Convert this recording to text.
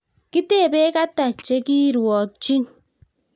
Kitebe Kata chekirwokchin